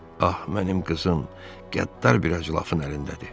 Ah, mənim qızım qəddar bir ajilafın əlindədir.